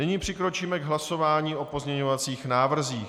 Nyní přikročíme k hlasování o pozměňovacích návrzích.